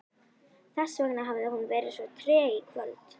Þessvegna hafði hún verið svo treg í kvöld.